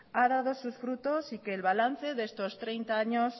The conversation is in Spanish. ha dado sus frutos y que el balance de estos treinta años